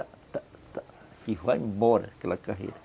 tá tá E vai embora aquela carreira.